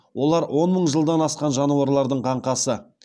олар он мың жылдан асқан жануарлардың қаңқасы